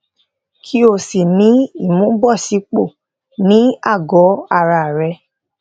kí ó sì ní ìmúbọsípò ní àgọ ara rẹ